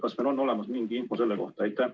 Kas meil on olemas mingi info selle kohta?